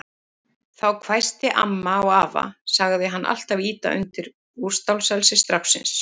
Þá hvæsti amma á afa, sagði hann alltaf ýta undir útstáelsi stráksins.